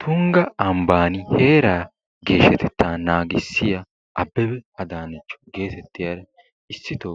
Tungga ambaani geeshshatetaa naagissiya abbebe adaanecho geetetiyaara issito